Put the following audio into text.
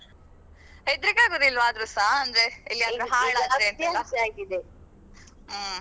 ಹೆದ್ರಿಕೆ ಆಗೂದಿಲ್ವಾ ಆದ್ರು ಸಾಅಂದ್ರೆ ಎಲ್ಲಿಯಾದ್ರೂ ಹಾಳಾದ್ರೆ ಹ್ಮ್.